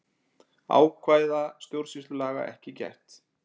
Ákvæða stjórnsýslulaga ekki gætt